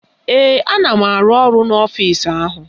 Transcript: Ee, ana m arụ ọrụ n'ọfisi ahụ